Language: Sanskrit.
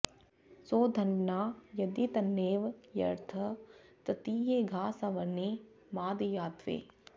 सौध॑न्वना॒ यदि॒ तन्नेव॒ हर्य॑थ तृ॒तीये॑ घा॒ सव॑ने मादयाध्वै